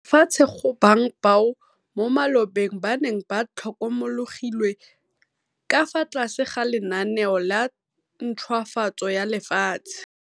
lefatshe go bang bao mo malobeng ba neng ba tlhokomologilwe ka fa tlase ga lenaneo la ntšhwafatso ya lefatshe.